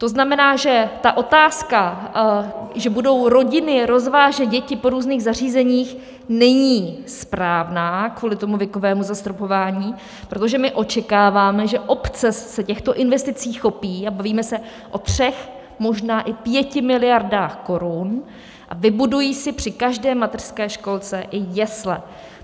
To znamená, že ta otázka, že budou rodiny rozvážet děti po různých zařízeních, není správná, kvůli tomu věkovému zastropování, protože my očekáváme, že obce se těchto investicí chopí - a bavíme se o třech, možná i pěti miliardách korun, a vybudují si při každé mateřské školce i jesle.